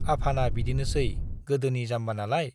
आफाना बिदिनोसै गोदोनि जाम्बानालाय।